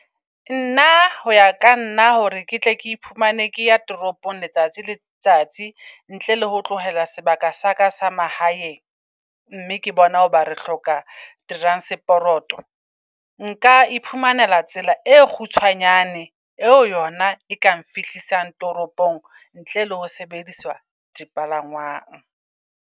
Nna ho ya kanna hore ke tle ke iphumane ke ya toropong letsatsi le letsatsi ntle le ho tlohela sebaka sa ka sa mahaeng. Mme ke bona hoba re hloka transporoto. Nka iphumanela tsela e kgutshwanyane eo yona e kang fihlisang toropong ntle le ho sebediswa dipalangwang.